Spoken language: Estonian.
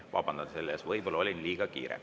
Vabandan selle eest, võib-olla olin liiga kiire.